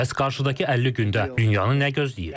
Bəs qarşıdakı 50 gündə dünyanın nə gözləyir?